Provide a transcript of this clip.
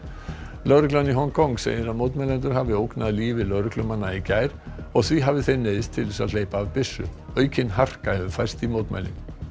lögreglan í Hong Kong segir að mótmælendur hafi ógnað lífi lögreglumanna í gær og því hafi þeir neyðst til að hleypa af byssu aukin harka hefur færst í mótmælin